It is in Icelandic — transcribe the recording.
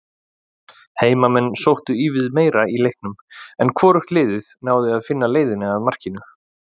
Heimamenn sóttu ívið meira í leiknum en hvorugt liðið náði að finna leiðina að markinu.